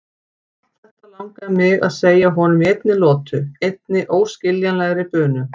Allt þetta langaði mig að segja honum í einni lotu, einni óskiljanlegri bunu.